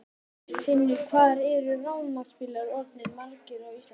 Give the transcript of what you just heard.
Finnur: Hvað eru rafmagnsbílar orðnir margir á Íslandi í dag?